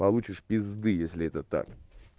получишь пизды если это так